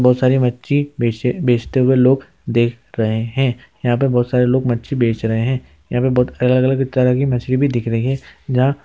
बहोत सारी मच्छी बेच बेचते हुए लोग देख रहे हैं। यहाँ पे बहोत सारे लोग मच्छी बेच रहे हैं। यहाँ पे बहोत अलग-अलग तरह की मछली दिख रही है जहाँ --